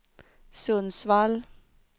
Sundsvall